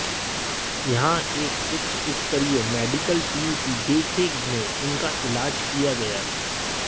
यहां एक उच्चस्तरीय मेडिकल टीम की देखरेख में उनका इलाज किया गया